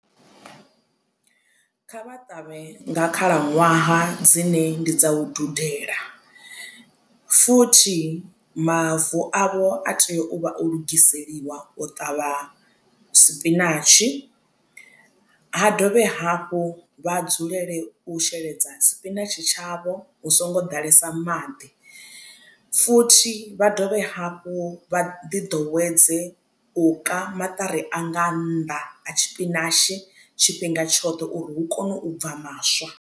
Kha vha ṱavhe nga khalaṅwaha dzine ndi dza u dudela futhi mavu avho a tea u vha o lugiselwa u ṱavha sipinatshi ha dovhe hafhu vha dzulele u sheledza sipinatshi tshavho hu songo ḓalesa maḓi futhi vha dovhe hafhu vha ḓi ḓowedze u ka maṱari a nga nnḓa ha tshipinashi tshifhinga tshoṱhe uri hu kone u bva maswa.